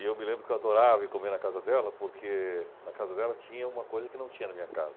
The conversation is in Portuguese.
E eu me lembro que eu adorava ir comer na casa dela, porque na casa dela tinha uma coisa que não tinha na minha casa.